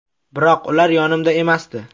Biroq ular yonimda emasdi.